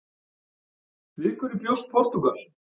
Við hverju bjóst Portúgal?